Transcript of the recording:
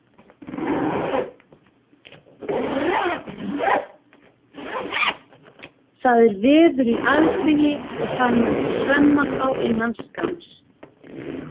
Það er veður í aðsigi og það mun hremma þá innan skamms.